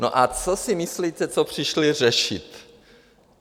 No a co si myslíte, co přišli řešit?